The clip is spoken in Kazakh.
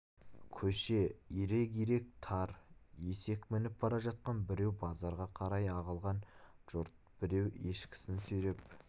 көше ирек-ирек тар есек мініп бара жатқан біреу базарға қарай ағылған жұрт біреу ешкісін сүйреп